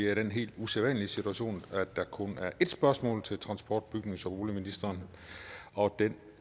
er i den helt usædvanlige situation at der kun er et spørgsmål til transport bygnings og boligministeren og det